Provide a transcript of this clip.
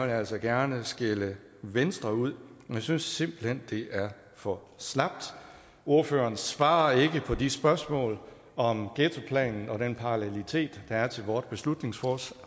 jeg altså gerne skælde venstre ud jeg synes simpelt hen det er for slapt ordføreren svarer ikke på de spørgsmål om ghettoplanen og den parallelitet der er til vores beslutningsforslag